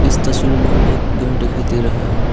इस तस्वीर में हमें एक घर दिखाई दे रहा है।